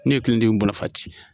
N'i ye kelen den marafa ci.